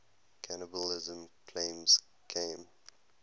cannibalism claims came